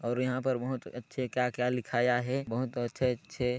और यहाँ पर बहुत अच्छे क्या-क्या लिखाया हैं बहुत अच्छे-अच्छे--